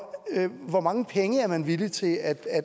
hvor mange penge er man villig til at